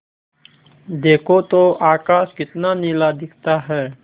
देखो तो आकाश कितना नीला दिखता है